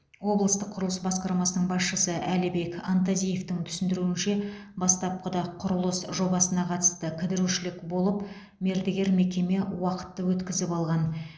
облыстық құрылыс басқармасының басшысы әлібек антазиевтің түсіндіруінше бастапқыда құрылыс жобасына қатысты кідірушілік болып мердігер мекеме уақытты өткізіп алған